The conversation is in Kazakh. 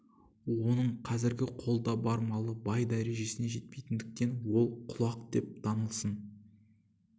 оның қазіргі қолда бар малы бай дәрежесіне жетпейтіндіктен ол құлақ деп танылсын